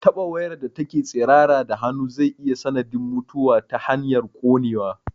Taɓa wayar da take tsirara da hannu zai iya sanadin mutuwa ta hanyar ƙonewa